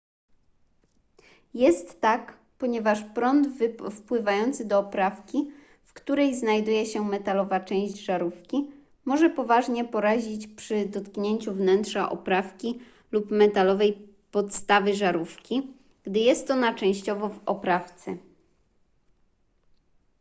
jest tak ponieważ prąd wpływający do oprawki w której znajduje się metalowa część żarówki może poważnie porazić przy dotknięciu wnętrza oprawki lub metalowej podstawy żarówki gdy jest ona częściowo w oprawce